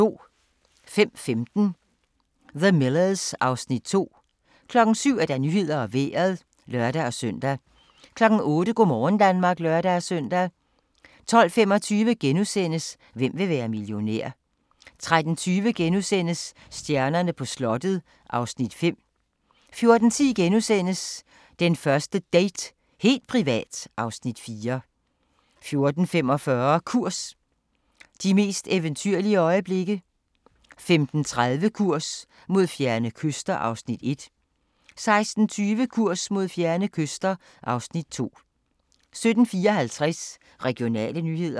05:15: The Millers (Afs. 2) 07:00: Nyhederne og Vejret (lør-søn) 08:00: Go' morgen Danmark (lør-søn) 12:25: Hvem vil være millionær? * 13:20: Stjernerne på slottet (Afs. 5)* 14:10: Den første date – helt privat (Afs. 4)* 14:45: Kurs – de mest eventyrlige øjeblikke 15:30: Kurs mod fjerne kyster (Afs. 1) 16:20: Kurs mod fjerne kyster (Afs. 2) 17:54: Regionale nyheder